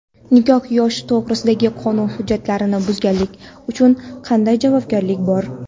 Nikoh yoshi to‘g‘risidagi qonun hujjatlarini buzganlik uchun qanday javobgarlik bor?.